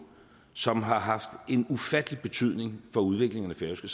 som har haft en ufattelig betydning for udviklingen af det